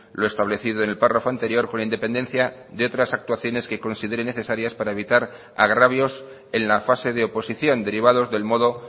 lo establecido en el párrafo anterior con independencia de otras actuaciones que considere necesarias para evitar agravios en la fase de oposición derivados del modo